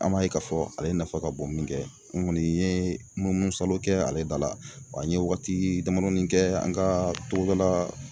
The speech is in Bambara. An b'a ye k'a fɔ ale nafa ka bon min kɛ n kɔni ye munumunusalon kɛ ale da la, wa n ye waatii damadɔni kɛ an kaa togodalaa